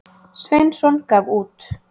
Sveinsson gaf út.